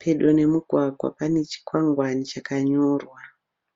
Pedo nemugwagwa pane chikwangwani chakanyorwa.